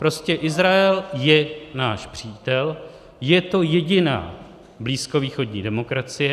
Prostě Izrael je náš přítel, je to jediná blízkovýchodní demokracie.